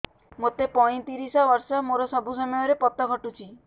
ମୋତେ ପଇଂତିରିଶ ବର୍ଷ ମୋର ସବୁ ସମୟରେ ପତ ଘଟୁଛି